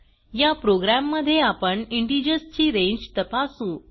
या प्रोग्राम मध्ये आपण इंटिजर्स ची रांगे तपासू